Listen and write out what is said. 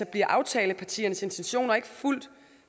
bliver aftalepartiernes intentioner ikke fulgt